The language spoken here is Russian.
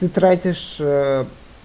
ты тратишь э